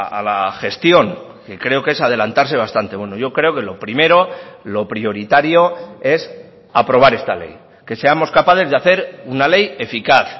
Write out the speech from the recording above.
a la gestión que creo que es adelantarse bastante bueno yo creo que lo primero lo prioritario es aprobar esta ley que seamos capaces de hacer una ley eficaz